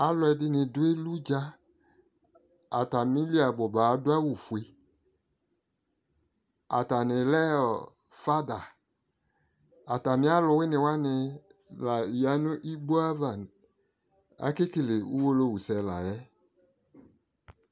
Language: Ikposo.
Alʋ ɛdɩnɩ dʋ eludza Atamili alʋ ɔbʋ ba adʋ awʋ fue, atanɩ lɛ fada Atamɩ alʋ wɩnɩ wanɩ la ya nʋ iɣigbo ava Akekele uwolowusɛ la yɛ